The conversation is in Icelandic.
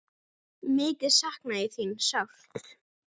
Mikið sakna ég þín sárt.